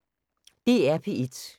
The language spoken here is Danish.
DR P1